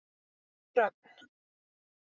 Dröfn